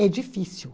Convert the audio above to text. É difícil.